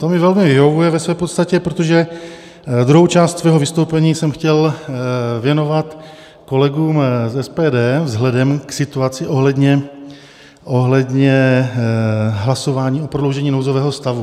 To mi velmi vyhovuje ve své podstatě, protože druhou část svého vystoupení jsem chtěl věnovat kolegům z SPD vzhledem k situaci ohledně hlasování o prodloužení nouzového stavu.